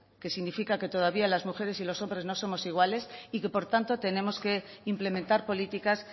que significa que todavía las mujeres y los hombres no somos iguales y que por tanto tenemos que implementar políticas